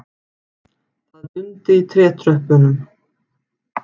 Það dundi í trétröppunum.